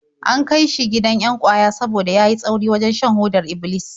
An kai shi gidan 'yan ƙwaya saboda ya yi tsauri wajen shan hodar Iblis.